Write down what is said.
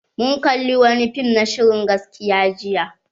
Mun kalla wani fim na shirin gaskiya jiya.